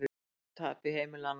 Brot af tapi heimilanna